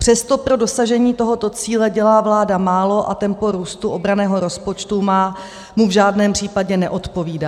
Přesto pro dosažení tohoto cíle dělá vláda málo a tempo růstu obranného rozpočtu mu v žádném případě neodpovídá.